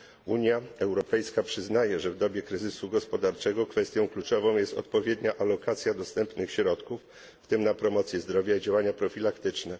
Unia Europejska przyznaje, że w dobie kryzysu gospodarczego kwestią kluczową jest odpowiednia alokacja dostępnych środków, w tym na promocję zdrowia i działania profilaktyczne.